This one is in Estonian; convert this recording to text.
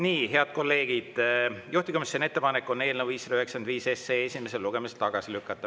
Nii, head kolleegid, juhtivkomisjoni ettepanek on eelnõu 595 esimesel lugemisel tagasi lükata.